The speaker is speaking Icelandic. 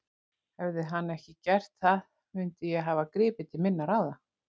Hefði hann ekki gert það mundi ég hafa gripið til minna ráða.